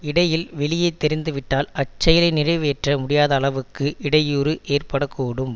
இடையில் வெளியே தெரிந்துவிட்டால் அச்செயலை நிறைவேற்ற முடியாத அளவுக்கு இடையூறு ஏற்பட கூடும்